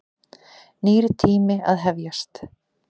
Nýr tími að hefjast.